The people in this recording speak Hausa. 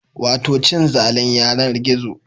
Wato cin zalin yanar gizo